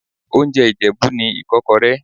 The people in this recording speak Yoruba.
Oúnjẹ Ìjẹ̀bú ni Ìkọ́kọrẹ́.